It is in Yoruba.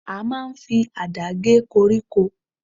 A máa ń fi àdá gé koríko.